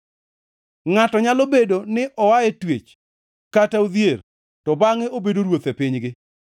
Ngʼato nyalo bedo ni oa e twech kata odhier, to bangʼe obedo ruoth e pinygi.